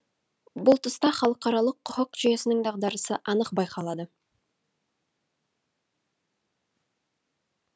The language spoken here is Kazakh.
бұл тұста халықаралық құқық жүйесінің дағдарысы анық байқалады